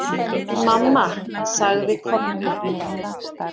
Mamma, sagði Kobbi.